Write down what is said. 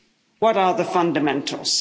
What are the fundamentals?